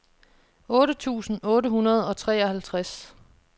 otte tusind otte hundrede og treoghalvtreds